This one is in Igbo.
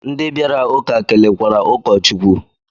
Ndị bịara ụka kelekwara ukọchukwu.